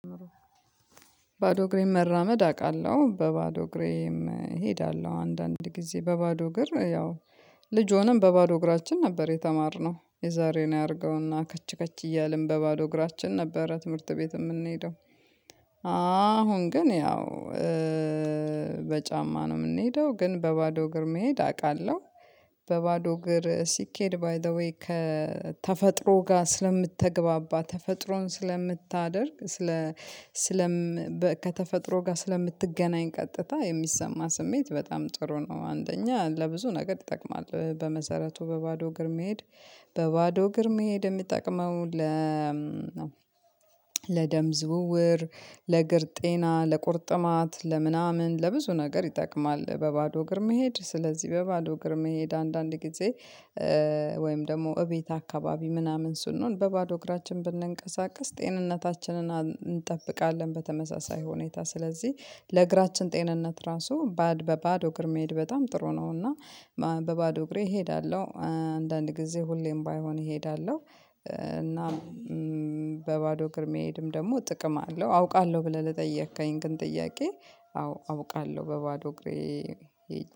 ባዶ እግሬን መራመድ አውቃለሁ። በባዶ እግሬም እሄዳለሁ አንዳንድ ጊዜ በባዶ እግር ያው ልጅ ሆነን በባዶ እግራችን ነበር የተማርነው የዛሬን ያድርገውና ከች ከች እያልን በባዶ እግራችን ነበረ ትምህርት ቤት የምንሄደው አሁን ግን ያው በጫማ ነው የምንሄደው ግን በባዶ እግር መሄድ አውቃለሁ። በባዶ እግር ሲኬድ ባይ ዘ ዌይ ከተፈጥሮ ጋር ስለምትገባባ ተፈጥሮን ስለምታደርግ ስለ ስለም ከተፈጥሮ ጋር ስለምትገናኝ ቀጥታ የሚሰማ ስሜት በጣም ጥሩ ነው። አንደኛ ለብዙ ነገር ይጠቅማል በመሰረቱ በባዶ እግር መሄድ በባዶ እግር መሄድ የሚጠቅመው ለ ለደም ዝውውር ለእግር ጤና ለቁርጥማት ለምናምን ለብዙ ነገር ይጠቅማል። በባዶ እግር መሄድ ስለዚህ በባዶ እግር መሄድ አንዳንድ ጊዜ ወይም ደግሞ እቤት አካባቢ ምናምን ስንሆን በባዶ እግራችን ብንንቀሳቀስ ጤንነታችንን እንጠብቃለን። በተመሳሳይ ሁኔታ ስለዚህ ለእግራችን ጤንነት ራሱ በባዶ እግር መሄድ በጣም ጥሩ ነውና። በባዶ እግሬ እሄዳለሁ አንዳንድ ጊዜ ሁሌም ባይሆን እሄዳለሁ። እና በባዶ እግር መሄድም ደግሞ ጥቅም አለው። አውቃለሁ ብለህ ለጠየከኝ ግን ጥያቄ አውቃለሁ በባዶ እግሬ